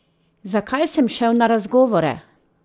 Zakaj sem šel na razgovore?